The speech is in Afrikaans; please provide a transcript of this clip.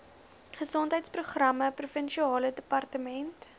gesondheidsprogramme provinsiale departement